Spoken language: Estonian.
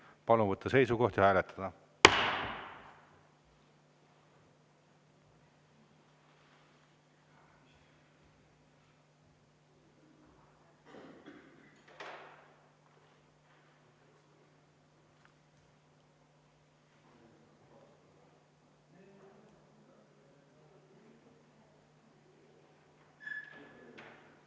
Palun võtta seisukoht ja hääletada!